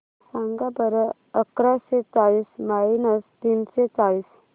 सांगा बरं अकराशे चाळीस मायनस तीनशे चाळीस